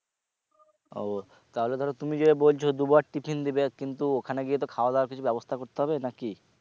ও তাহলে ধরো তুমি যে বলছো দু বার tiffin দেবে কিন্তু ওখানে গিয়ে তো খাওয়া দাওয়ার কিছু ব্যবস্থা করতে হবে না কি?